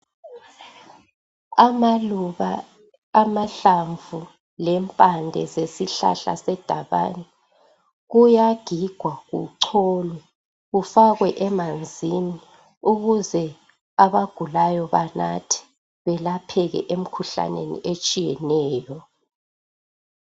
Amaluba, amahlamvu lempande zesihlahla sedabane kuyagigwa kucholwe kufakwe emanzini ukuze abagulayo banathe belapheke emkhuhlaneni etshiyeneyo.